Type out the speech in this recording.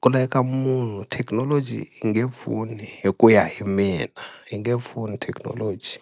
ku laveka munhu thekinoloji yi nge pfuni hi ku ya hi mina yi nge pfuni thekinoloji.